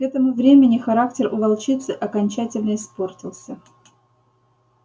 к этому времени характер у волчицы окончательно испортился